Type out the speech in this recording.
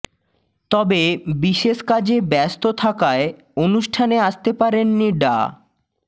তবে বিশেষ কাজে ব্যস্ত থাকায় অনুষ্ঠানে আসতে পারেননি ডা